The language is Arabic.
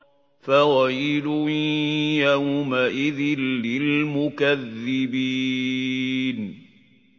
فَوَيْلٌ يَوْمَئِذٍ لِّلْمُكَذِّبِينَ